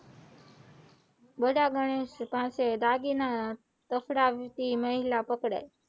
બધા ગનિન પાસે દાગીના પકડાવતી મહિલા પકડાઈ.